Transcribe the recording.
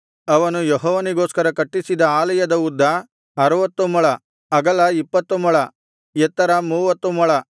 ಅವನು ಯೆಹೋವನಿಗೋಸ್ಕರ ಕಟ್ಟಿಸಿದ ಆಲಯದ ಉದ್ದ ಅರುವತ್ತು ಮೊಳ ಅಗಲ ಇಪ್ಪತ್ತು ಮೊಳ ಎತ್ತರ ಮೂವತ್ತು ಮೊಳ